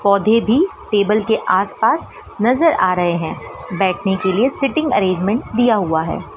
पौधे भी टेबल के आस पास नजर आ रहे हैं बैठने के लिए सीटिंग अरेंजमेंट दिया हुआ है।